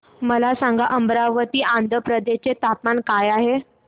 मला सांगा अमरावती आंध्र प्रदेश चे तापमान काय आहे